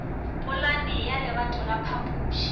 polane ya lebato la phapuši